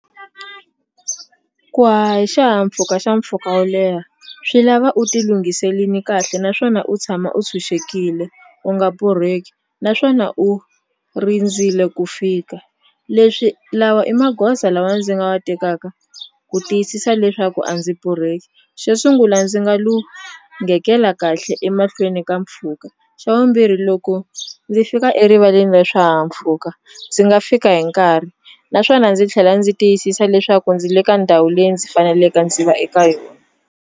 Ku haha hi xihahampfhuka xa mpfhuka wo leha swi lava u ti lunghiselini kahle naswona u tshama u tshunxekile u nga borheki naswona u rindzile ku fika leswi lawa i maghoza lawa ndzi nga wa tekaka ku tiyisisa leswaku a ndzi borheki xo sungula ndzi nga lunghekela kahle emahlweni ka mpfhuka xa vumbirhi loko ndzi fika erivaleni ra swihahampfhuka ndzi nga fika hi nkarhi naswona ndzi tlhela ndzi tiyisisa leswaku ndzi le ka ndhawu leyi ndzi faneleke ndzi va eka yona.